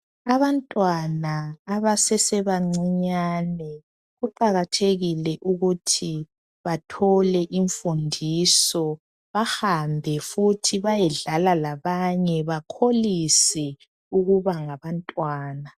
Abantwana abasesebancinyane kuqakathekile ukuthi bathole imfundiso bahambe futhi bayedlala labanye bakholise ukuba ngabantwana.